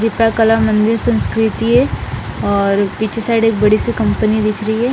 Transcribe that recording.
रिपा colour मंदिर संस्कृति हैं और पीछे साइड एक बड़ी सी कंपनी दिख रही हैं ।